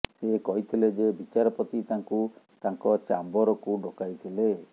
ସେ କହିଥିଲେ ଯେ ବିଚାରପତି ତାଙ୍କୁ ତାଙ୍କ ଚ୍ୟାମ୍ବରକୁ ଡକାଇଥିଲେ